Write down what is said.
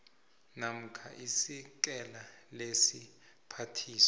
namkha isekela lesiphathiswa